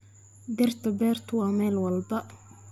Dhirta beertu waa meel walba.